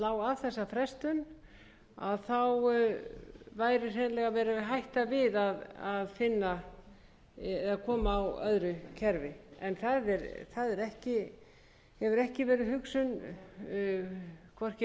veg að hreinlega væri verið að hætta við að koma á öðru kerfi en það hefur ekki verið hugsunin hvorki